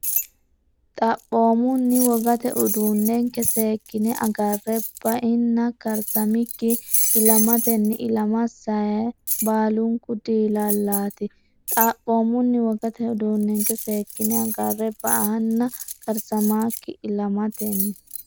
Xaphoomunni wogate uduunnenke seekkine agarre bainna karsamikkinni ilamatenni ilama sayi- baalunku dilaalaati Xaphoomunni wogate uduunnenke seekkine agarre bainna karsamikkinni ilamatenni.